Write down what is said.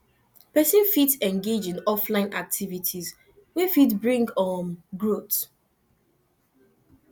person fit engage in offline activities wey fit bring um growth